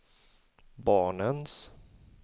barnens